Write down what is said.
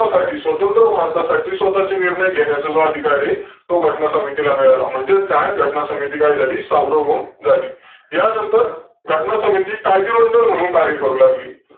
आपल्यासाठी स्वतंत्र भारतासाठी स्वतःचे निर्णय असलेला अधिकारी तो घटना समितीला मिळाला म्हणजेच त्या घटना समितीला स्वावलंबून झाली. यांनतर घटना समिती कायदेमंडळ म्हणून कार्य करू लागली.